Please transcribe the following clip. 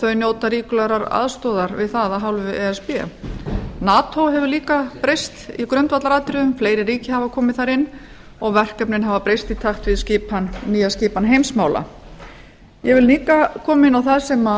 þau njóta ríkulegrar aðstoðar við það að hálfu e s b nato hefur líka breyst í grundvallaratriðum fleiri ríki hafa komið þar inn og verkefnin hafa breyst í takt við nýja skipan heimsmála ég vil líka koma inn á það sem